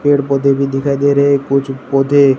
पेड़ पौधे भी दिखाई दे रहे हैं कुछ पौधे--